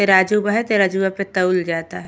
तेराजु बा है। तराजुआ पे तौल जाता है।